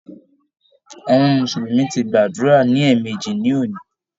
Àwọn mùsùlùmí ti gbàdúrà ní èèmejì ní òní.